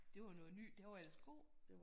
Det var noget ny den var ellers god